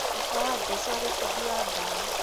Baba wa Jesu arĩ bundi wa mbao.